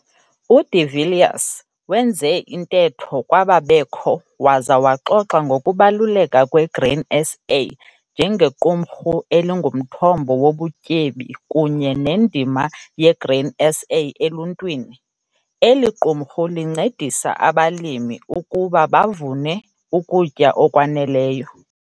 U-De Villiers wenze intetho kwababekho waza waxoxa ngokubaluleka kweGrain SA njengequmrhu elingumthombo wobutyebi kunye nendima yeGrain SA eluntwini. Eli qumrhu lincedisa abalimi ukuba bavune ukutya okwaneleyo.